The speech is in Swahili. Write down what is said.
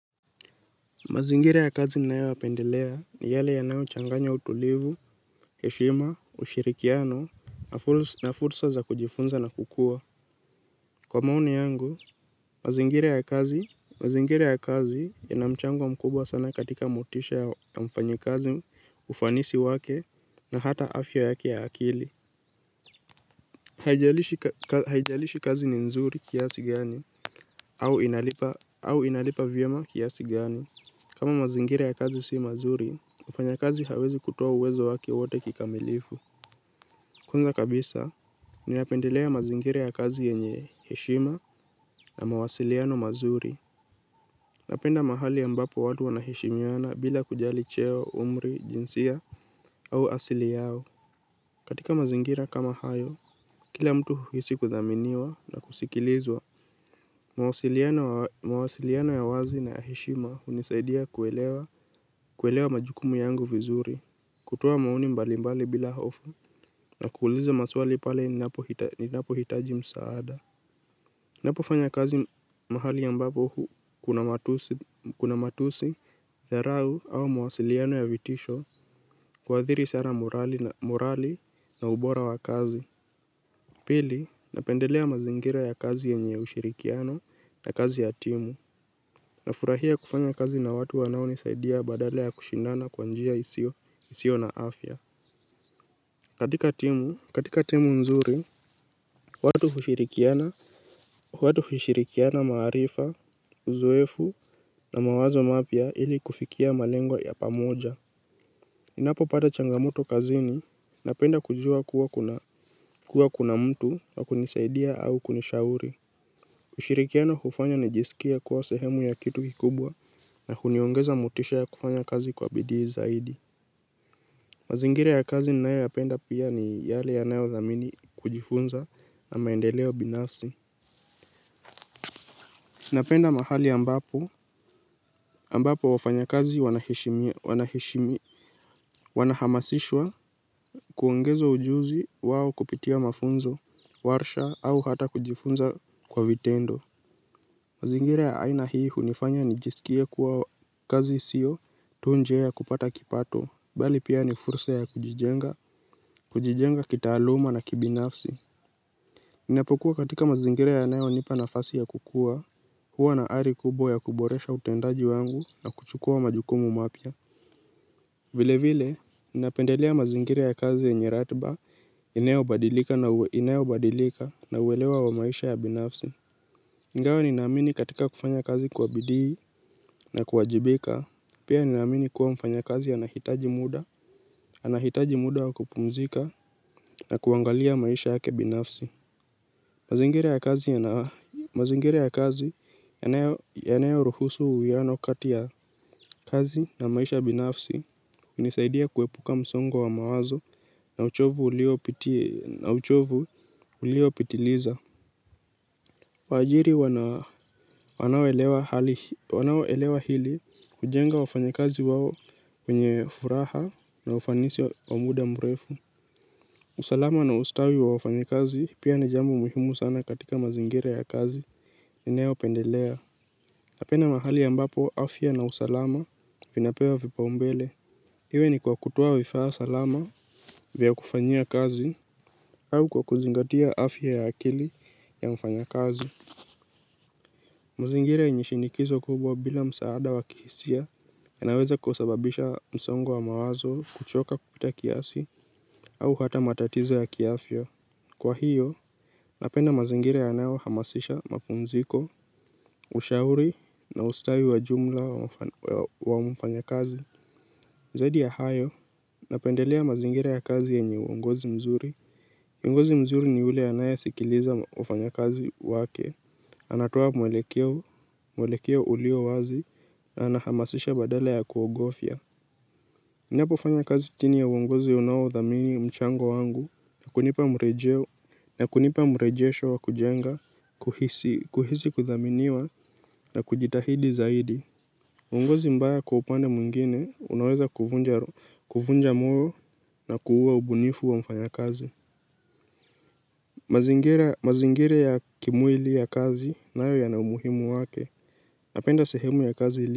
Mazingira ya kazi ninayoyapendelea ni yale yanayochanganya utulivu, heshima, ushirikiano, na fursa za kujifunza na kukua. Kwa maoni yangu, mazingira ya kazi, mazingira ya kazi yana mchango mkubwa sana katika motisha ya mfanyikazi ufanisi wake na hata afya yake ya akili. Haijalishi kazi ni nzuri kiasi gani, au inalipa vyema kiasi gani. Kama mazingira ya kazi si mazuri, mfanyakazi hawezi kutoa uwezo wake wote kikamilifu. Kwanza kabisa, ninapendelea mazingira ya kazi yenye heshima na mawasiliano mazuri. Napenda mahali ambapo watu wanaheshimiana bila kujali cheo, umri, jinsia au asili yao. Katika mazingira kama hayo, kila mtu huhisi kuthaminiwa na kusikilizwa. Mawasiliano ya wazi na ya heshima hunisaidia kuelewa majukumu yangu vizuri. Kutoa maoni mbali mbali bila hofu na kuuliza maswali pale ninapohitaji msaada. Napofanya kazi mahali ambapo huu kuna matusi, dharau au mawasiliano ya vitisho huathiri sana morali na ubora wa kazi. Pili napendelea mazingira ya kazi yenye ushirikiano na kazi ya timu nafurahia kufanya kazi na watu wanao nisaidia badala ya kushindana kwa njia isio na afya. Katika timu nzuri, watu hushirikiana maarifa, uzoefu na mawazo mapya ili kufikia malengo ya pamoja. Ninapopata changamoto kazini napenda kujua kuwa kuna mtu wa kunisaidia au kunishauri ushirikiano hufanya nijisikie kuwa sehemu ya kitu kikubwa na huniongeza motisha ya kufanya kazi kwa bidii zaidi. Mazingira ya kazi ninayoyapenda pia ni yale yanayo dhamini kujifunza na maendeleo binafsi. Napenda mahali ambapo, ambapo wafanya kazi wanaheshimi. Wanahamasishwa kuongezwa ujuzi wao kupitia mafunzo, warsha au hata kujifunza kwa vitendo. Mazingira ya aina hii hunifanya nijisikie kuwa kazi sio tu njia ya kupata kipato bali pia ni fursa ya kujijenga, kujijenga kitaaluma na kibinafsi. Ninapokuwa katika mazingira yanayonipa nafasi ya kukua hua na ari kubwa ya kuboresha utendaji wangu na kuchukua majukumu mapya. Vile vile, ninapendelea mazingira ya kazi yenye ratiba inayobadilika inayobadilika na uelewa wa maisha ya binafsi ingawa ninaamini katika kufanya kazi kwa bidii na kuwajibika. Pia ninaamini kuwa mfanyakazi anahitaji muda. Anahitaji muda wa kupumzika na kuangalia maisha yake binafsi. Mazingira ya kazi yanayoruhusu uwiano kati ya kazi na maisha binafsi nisaidia kuepuka msongo wa mawazo na uchovu uliopitiliza. Waajiri wanaoelewa hili hujenga wafanya kazi wao kwenye furaha na ufanisi wa muda mrefu. Usalama na ustawi wa wafanya kazi pia ni jambo muhimu sana katika mazingira ya kazi. Ninayo pendelea. Napenda mahali ambapo afya na usalama vinapewa vipaumbele iwe ni kwa kutoa vifaa salama vya kufanyia kazi au kwa kuzingatia afya ya akili ya mfanya kazi. Mazingira yenye shinikizo kubwa bila msaada wa kihisia yanaweza kusababisha msongo wa mawazo kuchoka kupita kiasi au hata matatizo ya kiafya. Kwa hiyo, napenda mazingira yanaohamasisha mapumziko. Ushauri na ustawi wa jumla wa mfanya kazi zaidi ya hayo napendelea mazingira ya kazi yenye uongozi mzuri kiongozi mzuri ni ule anayesikiliza wafanyakazi wake. Anatoa mwelekeo ulio wazi na anahamasisha badala ya kuogofya. Ninapofanya kazi chini ya uongozi unaodhamini mchango wangu na kunipa mrejeo na kunipa mrejesho wa kujenga kuhisi kuthaminiwa na kujitahidi zaidi. Uongozi mbaya kwa upande mwingine unaweza kuvunja moyo na kuua ubunifu wa mfanyakazi. Mazingira ya kimwili ya kazi nayo yana umuhimu wake. Napenda sehemu ya kazi ili.